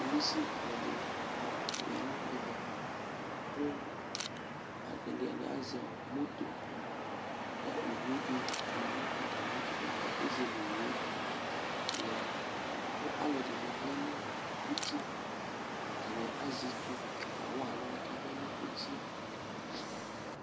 Polisi alʋ ɛdini ma, ya nʋ ɛvɛ, kʋ ɛdini azɛ ɔ moto ka owu di ma nʋ atami ɛtʋ bua kʋ ezele owu yɛ lɛ kʋ alʋ ɛdini vlɛ nʋ uti Atani azɛ itsu k'awa aluwani k'avlɛ nʋ uti yɛ